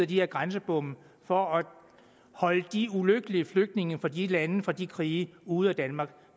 de her grænsebomme for at holde de ulykkelige flygtninge fra de lande og fra de krige ude af danmark